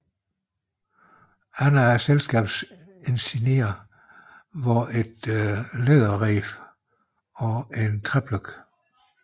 Andre af selskabets insignier var et læderreb og en træpløk